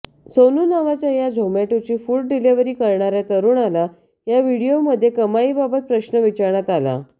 सोनू नावाच्या या झोमॅटोची फूड डिलिव्हरी करणाऱ्या तरुणाला या व्हिडिओमध्ये कमाईबाबत प्रश्न विचारण्यात आला